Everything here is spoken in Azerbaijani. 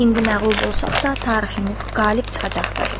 İndi məğlub olsaq da, tariximiz qalib çıxacaqdır.